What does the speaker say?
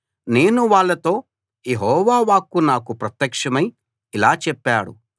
కాబట్టి నేను వాళ్ళతో యెహోవా వాక్కు నాకు ప్రత్యక్షమై ఇలా చెప్పాడు